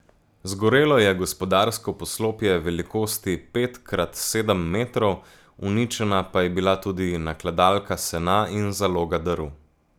Zgorelo je gospodarsko poslopje velikosti pet krat sedem metrov, uničena pa je bila tudi nakladalka sena in zaloga drv.